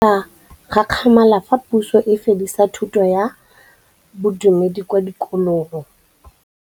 Bagolo ba ne ba gakgamala fa Pusô e fedisa thutô ya Bodumedi kwa dikolong.